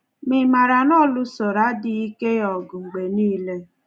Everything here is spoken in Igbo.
Ma ị̀ maara na ọ lụsoro adịghị ike ya ọgụ mgbe nile?